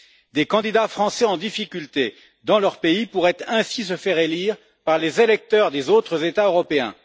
Des candidats français en difficulté dans leur pays pourraient ainsi se faire élire par les électeurs des autres États européens.